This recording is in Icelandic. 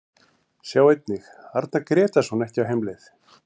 Sjá einnig: Arnar Grétarsson ekki á heimleið